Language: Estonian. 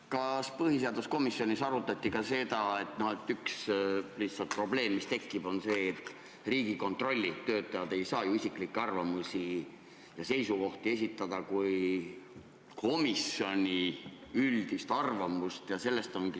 Kas põhiseaduskomisjonis arutati ka seda, et üks probleem, mis tekib, on see, et Riigikontrolli töötajad ei saa ju isiklikke arvamusi ja seisukohti esitada kui komisjoni üldist arvamust?